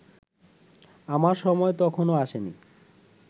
আমার সময় তখনো আসেনি